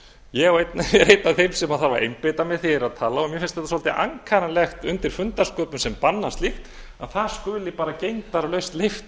ég er einn af þeim sem þarf að einbeita mér þegar ég er að tala og mér finnst þetta svolítið ankannalegt undir fundarsköpum sem banna slíkt að það skuli gegndarlaust leyft